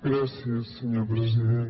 gràcies senyor president